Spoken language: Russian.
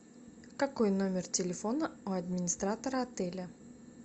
какой номер телефона у администратора отеля